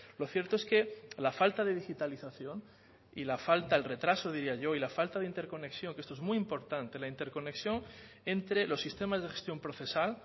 lo cierto es que la falta de digitalización y la falta el retraso diría yo y la falta de interconexión que esto es muy importante la interconexión entre los sistemas de gestión procesal